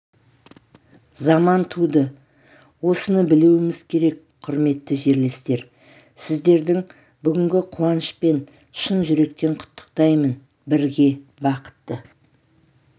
заман туды осыны білуіміз керек құрметті жерлестер сіздердің бүгінгі қуанышпен шын жүректен құттықтаймын бірге бақытты